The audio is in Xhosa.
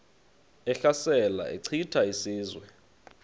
ehlasela echitha izizwe